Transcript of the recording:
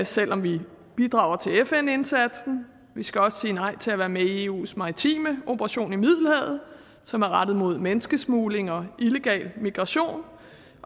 selv om vi bidrager til fn indsatsen vi skal også sige nej til at være med i eus maritime operationer i middelhavet som er rettet mod menneskesmugling og illegal immigration